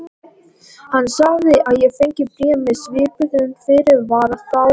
Hann sagði að ég fengi bréf með svipuðum fyrirvara þá.